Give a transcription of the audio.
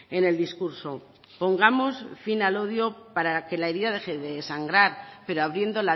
en el discurso pongamos fin al odio para que la herida deje de sangrar pero abriendo